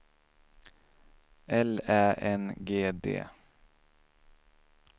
L Ä N G D